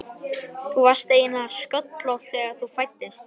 Þú varst eiginlega sköllóttur þegar þú fæddist.